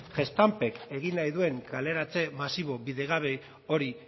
gestampek egin nahi duen kaleratze masibo bidegabe hori